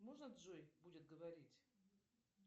можно джой будет говорить